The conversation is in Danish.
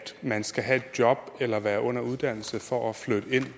man skal have et job eller være under uddannelse for at flytte ind